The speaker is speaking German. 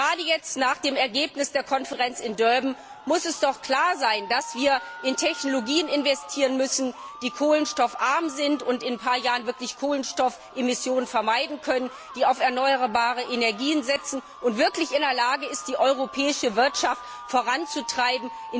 Gerade jetzt, nach dem Ergebnis der Konferenz in Durban, muss es doch klar sein, dass wir in Technologien investieren müssen, die kohlenstoffarm sind und in ein paar Jahren Kohlenstoffemissionen vermeiden können, die auf erneuerbare Energien setzen und wirklich in der Lage sind, die europäische Wirtschaft in dieser Hinsicht voranzutreiben.